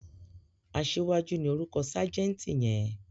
Aṣíwájú ni orúkọ ságẹ̀ǹtì yẹn.